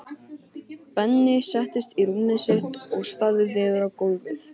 Benni settist á rúmið sitt og starði niður á gólfið.